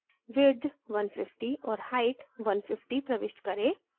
width 150 और height 150 प्रविष्ट करें